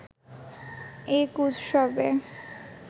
এক উৎসবে